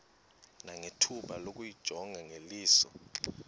nangethuba lokuyijonga ngeliso